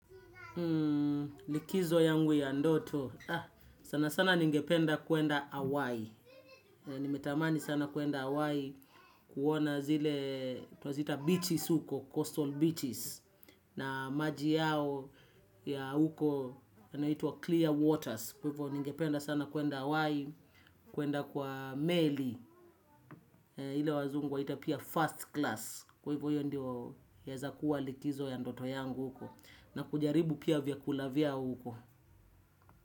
Hmm, likizo yangu ya ndoto, sana sana ningependa kwenda Hawaii, nimetamani sana kwenda Hawaii kuona zile, twaziita beaches huko, coastal beaches, na maji yao ya huko yanaitwa clear waters, kwa hivyo ningependa sana kwenda Hawaii, kwenda kwa meli, ile wazungu waita first class, kwa hivyo ndio yaeza kuwa likizo ya ndoto yangu huko, na kujaribu pia vyakula vyao huko.